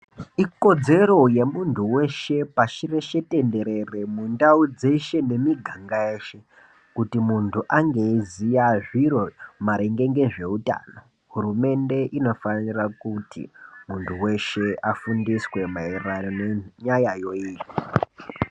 Ikodzero yemuntu weshe pashi reshe tenderere mundau dzeshe nemiganga yeshe kuti muntu ange eiziya zviro maringe ngezveutano hurumende inofanira kuti muntu weshe afundiswe mairirano nenyayayo iyi.